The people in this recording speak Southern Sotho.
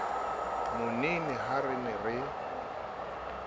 monene ha re ne re